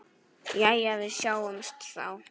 Jæja, við sjáumst þá.